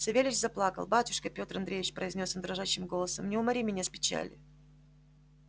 савельич заплакал батюшка петр андреич произнёс он дрожащим голосом не умори меня с печали